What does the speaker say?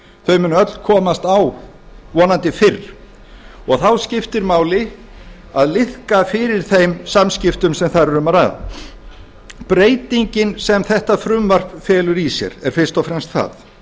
þau munu öll komast á vonandi fyrr og þá skiptir máli að liðka fyrir þeim samskiptum sem þar er um að ræða breytingin sem þetta frumvarp felur í sér er fyrst og fremst sú